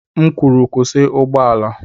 M kwuru, kwụsị ụgbọ ala!